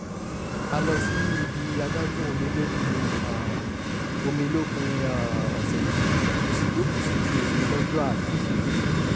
a lọ sí ibi adágún omi lópin um omi lópin um ọ̀sẹ̀ yìí mo sì jókòó sétí omi lọ́jọ́ àná